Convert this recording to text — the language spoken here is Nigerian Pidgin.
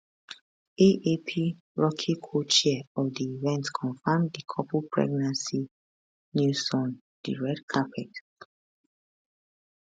aap rocky cochair of di event confam di couple pregnancy newson di red carpet